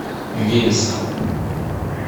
вельском